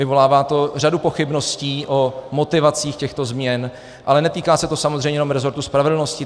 Vyvolává to řadu pochybností o motivacích těchto změn, ale netýká se to samozřejmě jenom rezortu spravedlnosti.